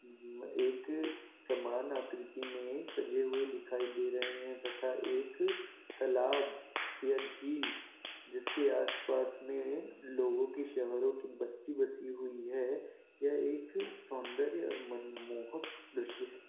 एक समान आकृति में सजे हुए दिखाई दे रहे हैं तथा एक तालाब या झील जिसके आसपास में लोगों की शहरों की बस्ती बसी हुई है यह एक सौंदर्य और मनमोहक दृश्य है।